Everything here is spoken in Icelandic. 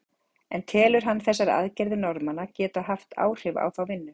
En telur hann þessar aðgerðir Norðmanna geta haft áhrif á þá vinnu?